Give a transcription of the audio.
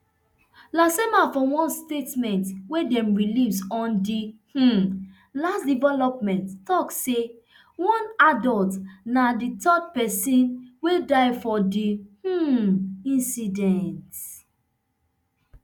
lasema for one statement wey dem release on di um latest development tok say one adult na di third pesin wey die for di um incident